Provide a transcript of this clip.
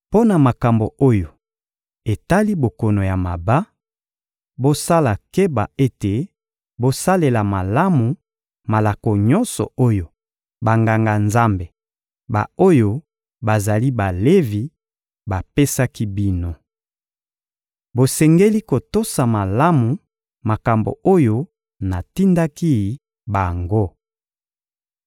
Mpo na makambo oyo etali bokono ya maba, bosala keba ete bosalela malamu malako nyonso oyo Banganga-Nzambe, ba-oyo bazali Balevi, bapesaki bino. Bosengeli kotosa malamu makambo oyo natindaki bango.